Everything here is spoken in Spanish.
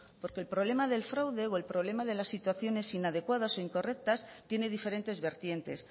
porque el problema del fraude o el problema de la situaciones inadecuadas o incorrectas tiene diferentes vertientes